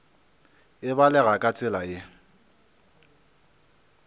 e balega ka tsela ye